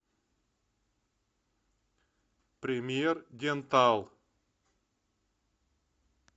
премьер дентал